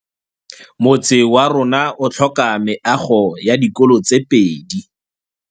Motse warona o tlhoka meago ya dikolô tse pedi.